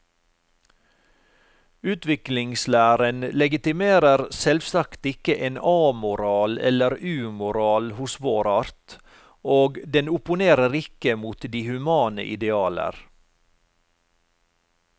Utviklingslæren legitimerer selvsagt ikke en amoral eller umoral hos vår art, og den opponerer ikke mot de humane idealer.